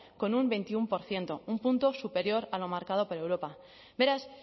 con un veintiuno por ciento un punto superior a lo marcado por europa beraz